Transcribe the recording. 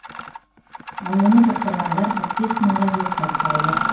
ал оны жұқтырғандар қырық бес мыңға жуықтап қалды